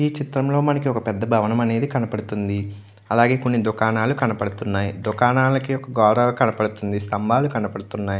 ఈ చిత్రం లో మనకి ఒక పెద్ద భవనం అనేది కనపడుతుంది. అలాగే కొన్ని దుకాణాలు కనపడుతున్నాయి. దుకాణాలకి గోడలు కనపడుతున్నాయి స్తంబాలు కనపడుతున్నాయి.